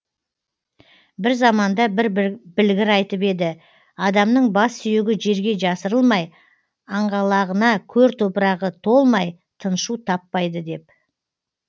бір заманда бір білгір айтып еді адамның бассүйегі жерге жасырылмай аңғалағына көр топырағы толмай тыншу таппайды деп